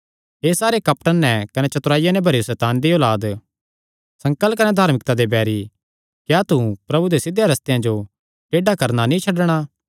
हे सारे कपट नैं कने चतुराईया नैं भरेयो सैताने दी औलाद संकल कने धार्मिकता दे बैरी क्या तू प्रभु दे सिध्धेयां रस्तेयां जो टेड़ा करणा नीं छड्डणा